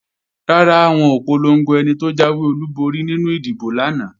Rárá, wọn ò polongo ẹni tó jáwé olúborí nínú ìdìbò lánàá